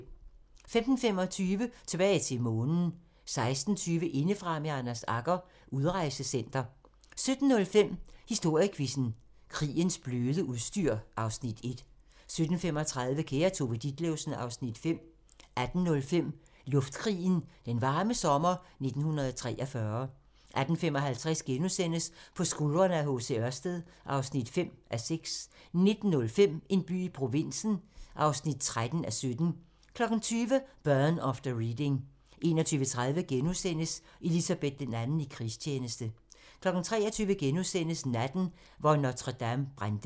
15:25: Tilbage til Månen 16:20: Indefra med Anders Agger - Udrejsecenter 17:05: Historiequizzen: Krigens bløde udstyr (Afs. 1) 17:35: Kære Tove Ditlevsen (Afs. 5) 18:05: Luftkrigen – Den varme sommer 1943 18:55: På skuldrene af H. C. Ørsted (5:6)* 19:05: En by i provinsen (13:17) 20:00: Burn After Reading 21:30: Elizabeth II i krigstjeneste * 23:00: Natten, hvor Notre-Dame brændte *